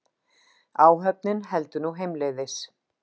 Áhöfnin heldur nú heimleiðis